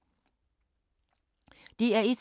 DR1